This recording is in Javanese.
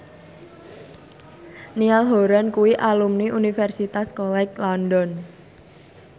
Niall Horran kuwi alumni Universitas College London